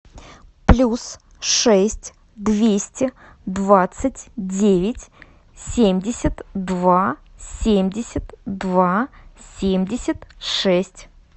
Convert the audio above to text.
плюс шесть двести двадцать девять семьдесят два семьдесят два семьдесят шесть